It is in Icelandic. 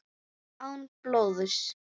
Án blóðs.